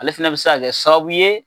Ale fɛnɛ bɛ se ka kɛ sababu ye.